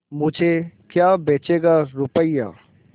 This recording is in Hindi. मुझे क्या बेचेगा रुपय्या